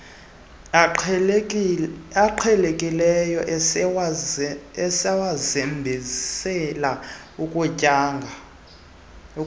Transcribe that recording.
aqhelekileyo esiwasebenzisela ukunyanga